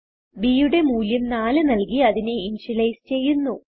b യുടെ മൂല്യം 4നല്കി അതിനെ ഇന്ത്യലൈസ് ചെയ്യുന്നു